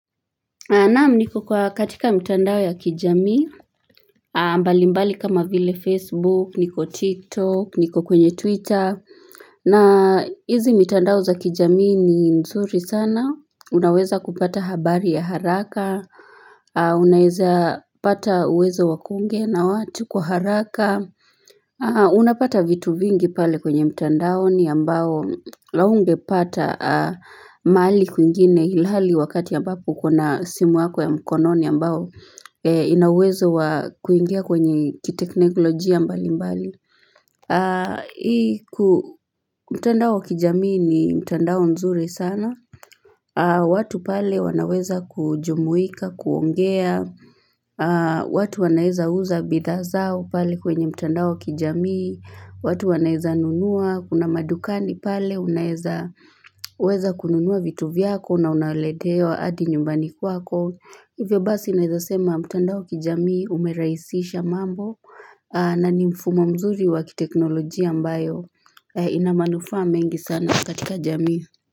Naamu niko kwa katika mitandao ya kijami, ambali mbali kama vile Facebook, niko TikTok, niko kwenye Twitter, na hizi mitandao za kijami ni nzuri sana, unaweza kupata habari ya haraka, unaweza pata uwezo wakunge na watu kuharaka. Haa unapata vitu vingi pale kwenye mtandao ni ambao laungepata mali kuingine hilali wakati ya ambapu kuna simu wako ya mkononi ambao inawezo kuingia kwenye kiteknokolojia mbali mbali. Haa hii ku mtandao kijamii ni mtandao nzuri sana. Haa watu pale wanaweza kujumuika kuongea. Haa watu wanaeza uza bidazao pale kwenye mtandao kijamii. Watu wanaeza nunua kuna madukani pale unaeza uweza kununua vitu vyako na unaletea hadi nyumbani kwako hivyo basi inaezasema mtandao kijamii umeraisisha mambo na ni mfumo mzuri wakiteknolojia ambayo inamanufa mengi sana katika jamii.